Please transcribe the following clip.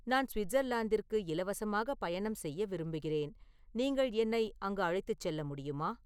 நான் சுவிட்சர்லாந்திற்கு இலவசமாக பயணம் செய்ய விரும்புகிறேன் நீங்கள் என்னை அங்கு அழைத்துச் செல்ல முடியுமா